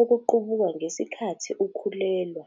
okuqubuka ngesikhathi ukhulelwa.